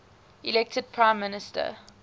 elected prime minister